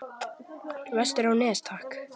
Vestur á Nes, takk!